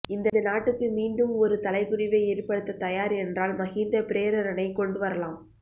இந்த நாட்டுக்கு மீண்டும் ஒரு தலைகுனிவை ஏற்படுத்தத் தயார் என்றால் மஹிந்த பிரேரணை கொண்டு வரலாம்